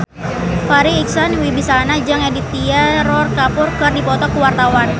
Farri Icksan Wibisana jeung Aditya Roy Kapoor keur dipoto ku wartawan